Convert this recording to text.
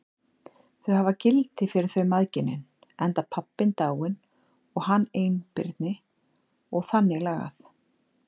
Þau hafi gildi fyrir þau mæðginin, enda pabbinn dáinn og hann einbirni og þannig lagað.